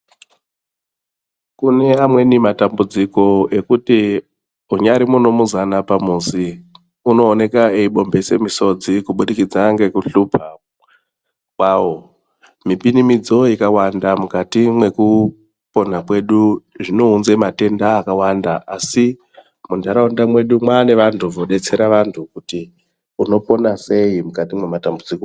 Kune amweni matambudziko ekuti aunyari munumuzani pamuzi unooneka eyi bhomhese misodzi zvichibhidikidza ngekuhlupha kwawo. Mipinimidzo ikawanda mukati mwekupona kwedu zvinounze matenda akawanda asi muntaraunda mwedu mwane vantu vodetsera vantu kuti unopona sei mukati mwematambudziko.